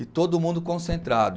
E todo mundo concentrado.